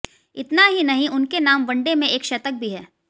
इतना ही नहीं उनके नाम वनडे में एक शतक भी है